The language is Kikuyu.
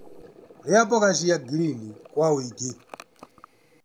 Rĩa mbũga cia ngirini kwa ũingĩ.